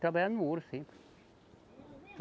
Trabalhava no ouro sempre.